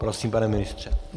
Prosím, pane ministře.